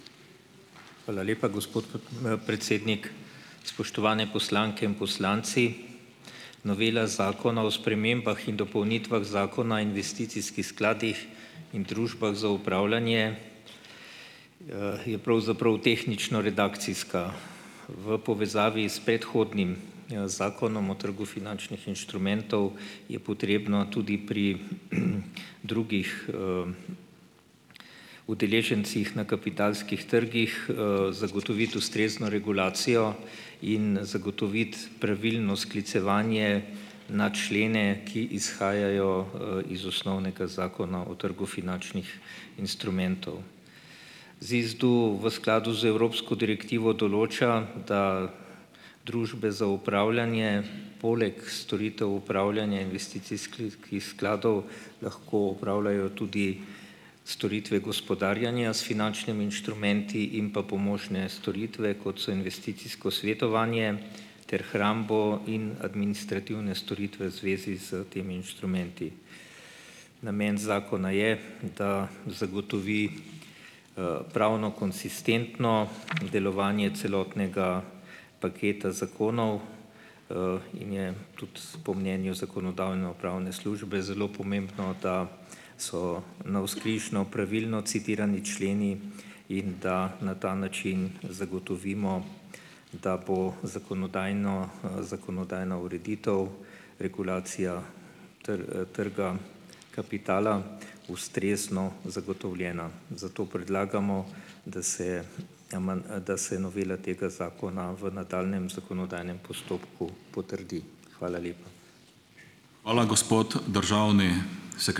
Hvala lepa, gospod p predsednik. Spoštovane poslanke in poslanci! Novela Zakona o spremembah in dopolnitvah Zakona investicijskih skladih in družbah za upravljanje je pravzaprav tehnično redakcijska. V povezavi s predhodnim zakonom o trgu finančnih inštrumentov je potrebno tudi pri drugih udeležencih na kapitalskih trgih zagotoviti ustrezno regulacijo in zagotoviti pravilno sklicevanje na člene, ki izhajajo iz osnovnega Zakona o trgu finačnih instrumentov. ZISDU v skladu z evropsko direktivo določa, da družbe za upravljanje poleg storitev upravljanja investicijskih skladov lahko upravljajo tudi storitve gospodarjenja s finančnimi inštrumenti in pa pomožne storitve, kot so investicijsko svetovanje, ter hrambo in administrativne storitve zvezi s temi inštrumenti. Namen zakona je, da zagotovi pravno konsistentno delovanje celotnega paketa zakonov in je tudi po mnenju Zakonodajno-pravne službe zelo pomembno, da so navzkrižno pravilno citirani členi, in da na ta način zagotovimo, da bo zakonodajno, zakonodajna ureditev regulacija tr trga kapitala ustrezno zagotovljena. Zato predlagamo, da se aman, da se novela tega zakona v nadaljnjem zakonodajnem postopku potrdi. Hvala lepa.